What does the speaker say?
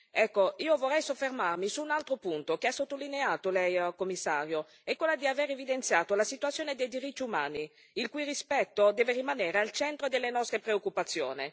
Ecco, io vorrei soffermarmi su un altro punto, che ha sottolineato Lei signor Commissario, quello di aver evidenziato la situazione dei diritti umani, il cui rispetto deve rimanere al centro delle nostre preoccupazioni.